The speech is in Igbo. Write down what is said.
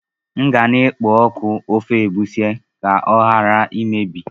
M ga na-ekpo ọkụ ofe egusi ka ọ ghara imebi.